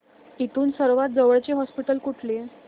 इथून सर्वांत जवळचे हॉस्पिटल कुठले